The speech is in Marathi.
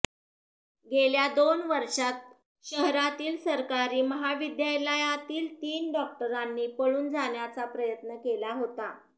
गेल्या दोन वर्षात शहरातील सरकारी महाविद्यालयातील तीन डॉक्टरांनी पळून जाण्याचा प्रयत्न केला होता